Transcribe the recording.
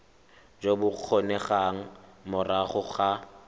jo bo kgonegang morago ga